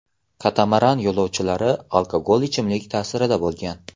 Katamaran yo‘lovchilari alkogol ichimlik ta’sirida bo‘lgan.